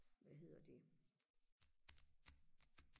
hvad hedder det